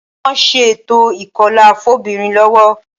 Wọ́n ń ṣe ètò ìkọlà fóbìnrin lọ́wọ́